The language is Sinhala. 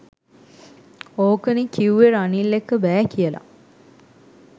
ඕකනෙ කිවුවෙ රනිල් එක්ක බෑ කියලා